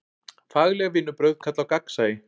Fagleg vinnubrögð kalla á gagnsæi.